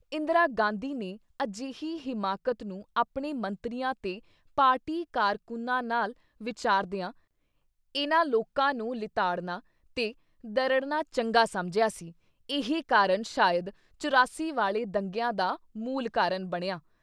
ਇੰਦਰਾ ਗਾਂਧੀ ਨੇ ਅਜੇਹੀ ਹਿਮਾਕਤ ਨੂੰ ਆਪਣੇ ਮੰਤਰੀਆਂ ਤੇ ਪਾਰਟੀ ਕਾਰਕੁੰਨਾ ਨਾਲ ਵਿਚਾਰਦਿਆਂ ਇੰਨ੍ਹਾਂ ਲੋਕਾਂ ਨੂੰ ਲਿਤਾੜਨਾ ਤੇ ਦਰੜਨਾ ਚੰਗਾ ਸਮਝਿਆ ਸੀ, ਇਹੀ ਕਾਰਨ ਸ਼ਾਇਦ ਚੁਰਾਸੀ ਵਾਲ਼ੇ ਦੰਗਿਆਂ ਦਾ ਮੂਲ ਕਾਰਨ ਬਣਿਆ।